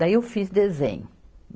Daí eu fiz desenho.